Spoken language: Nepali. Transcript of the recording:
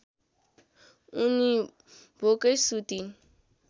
उनी भोकै सुतिन्